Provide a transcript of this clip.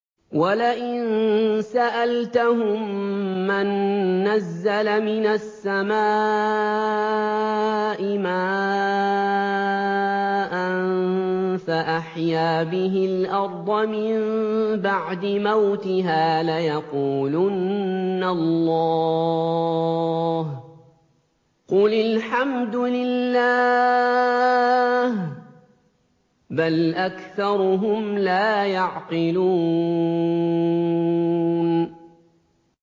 وَلَئِن سَأَلْتَهُم مَّن نَّزَّلَ مِنَ السَّمَاءِ مَاءً فَأَحْيَا بِهِ الْأَرْضَ مِن بَعْدِ مَوْتِهَا لَيَقُولُنَّ اللَّهُ ۚ قُلِ الْحَمْدُ لِلَّهِ ۚ بَلْ أَكْثَرُهُمْ لَا يَعْقِلُونَ